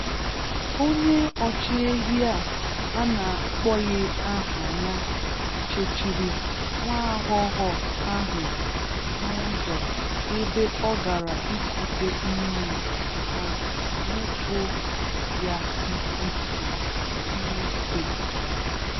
Onye ọchịehi a a na-akpọbeghi aha ya chechiri nwaaghọghọ ahụ n'ụzọ ebe ọ gara ikute mmiri ma bepu ya isi na Tuuzde.